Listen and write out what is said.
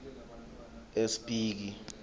espiki